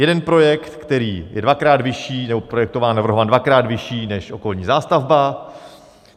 Jeden projekt, který je dvakrát vyšší - nebo projektován, navrhován dvakrát vyšší než okolní zástavba.